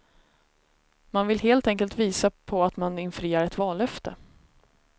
Man vill helt enkelt visa på att man infriar ett vallöfte.